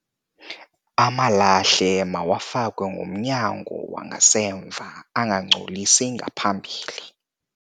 Amalahle mawafakwe ngomnyango wangasemva angangcolisi ngaphambili.